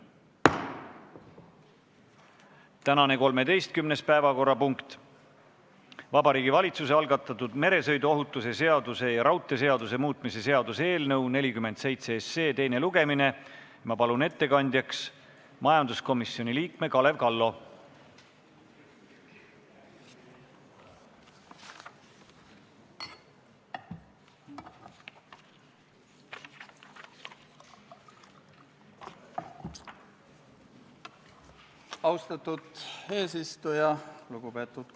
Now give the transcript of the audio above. Tänane neljas päevakorrapunkt on Vabariigi Valitsuse esitatud Riigikogu otsuse "Kaitseväe kasutamise tähtaja pikendamine Eesti riigi rahvusvaheliste kohustuste täitmisel Põhja-Atlandi Lepingu Organisatsiooni missioonil Iraagis" eelnõu 65 teine lugemine.